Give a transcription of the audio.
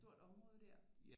Et stort område der